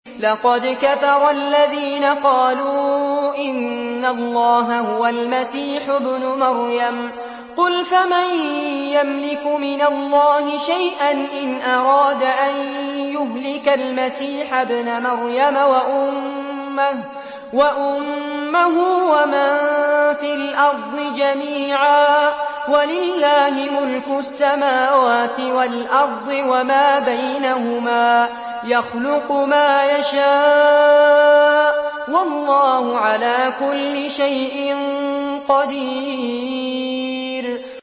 لَّقَدْ كَفَرَ الَّذِينَ قَالُوا إِنَّ اللَّهَ هُوَ الْمَسِيحُ ابْنُ مَرْيَمَ ۚ قُلْ فَمَن يَمْلِكُ مِنَ اللَّهِ شَيْئًا إِنْ أَرَادَ أَن يُهْلِكَ الْمَسِيحَ ابْنَ مَرْيَمَ وَأُمَّهُ وَمَن فِي الْأَرْضِ جَمِيعًا ۗ وَلِلَّهِ مُلْكُ السَّمَاوَاتِ وَالْأَرْضِ وَمَا بَيْنَهُمَا ۚ يَخْلُقُ مَا يَشَاءُ ۚ وَاللَّهُ عَلَىٰ كُلِّ شَيْءٍ قَدِيرٌ